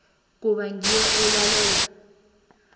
kuba ngiyo elalela